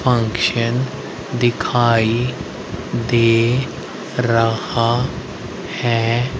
Function दिखाई दे रहा है।